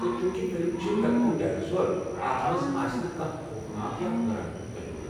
تہٕ چوُنٛکہِ فلم چھِ دی گڈ ڈایناسور، اتھ مَنٛز آسہِ نہٕ کانٛہہ خوفناک یا حیران کُن تجربہٕ۔